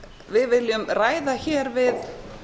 við viljum ræða hér við